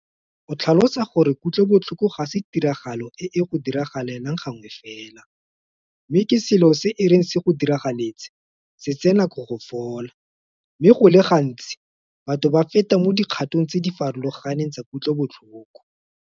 O tlhalosa gore kutlobotlhoko ga se tiragalo e e go diragalelang gangwe fela mme ke selo se e reng se go diragaletse se tsee nako go fola, mme go le gantsi batho ba feta mo dikgatong tse di farologaneng tsa kutlobotlhoko.